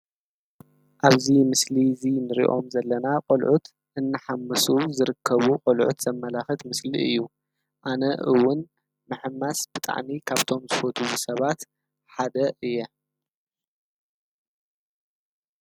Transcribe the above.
ኣብዙ ምስሊ እዙይ ንሪኦም ዘለና ቖልዑት እንሓምሱ ዝርከቡ ቖልዑት ዘመላኽት ምስሊ እዩ ኣነ እውን መሕማስ ብጥእኒ ካብ ቶም ዝፈት ሰባት ሓደ እየ።